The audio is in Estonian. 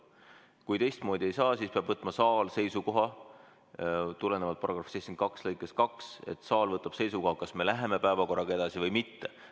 Kui teistmoodi ei saa, siis peab võtma saal seisukoha tulenevalt § 72 lõikest 2, kas me läheme päevakorraga edasi või mitte.